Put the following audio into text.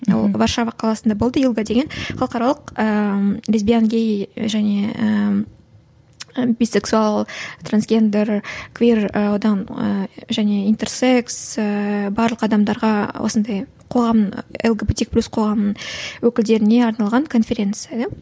ол варшава қаласында болды илга деген халықаралық ііі лесбиян гей және ііі бисексуал трансгендер квир і одан ііі және интерсекс ііі барлық адамдарға осындай қоғам лгбтик плюс қоғамын өкілдеріне арналған конференция да